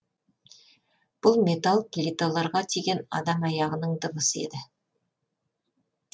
бұл металл плиталарға тиген адам аяғының дыбысы еді